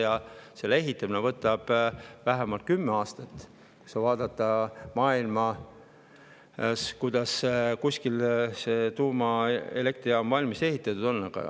Ja selle ehitamine võtab vähemalt kümme aastat, kui vaadata, kuidas maailmas kuskil tuumaelektrijaam valmis ehitatud on.